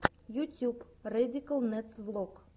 ютюб рэдикал нэдс влог